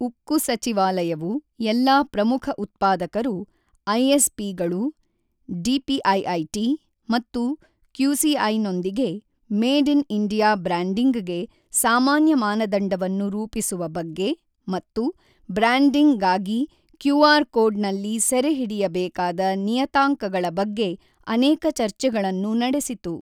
ಉಕ್ಕು ಸಚಿವಾಲಯವು ಎಲ್ಲಾ ಪ್ರಮುಖ ಉತ್ಪಾದಕರು ಐಎಸ್ ಪಿ ಗಳು, ಡಿಪಿಐಐಟಿ ಮತ್ತು ಕ್ಯೂಸಿಐನೊಂದಿಗೆ ಮೇಡ್ ಇನ್ ಇಂಡಿಯಾ ಬ್ರ್ಯಾಂಡಿಂಗ್ ಗೆ ಸಾಮಾನ್ಯ ಮಾನದಂಡವನ್ನು ರೂಪಿಸುವ ಬಗ್ಗೆ ಮತ್ತು ಬ್ರ್ಯಾಂಡಿಂಗ್ ಗಾಗಿ ಕ್ಯೂಆರ್ ಕೋಡ್ ನಲ್ಲಿ ಸೆರೆಹಿಡಿಯಬೇಕಾದ ನಿಯತಾಂಕಗಳ ಬಗ್ಗೆ ಅನೇಕ ಚರ್ಚೆಗಳನ್ನು ನಡೆಸಿತು.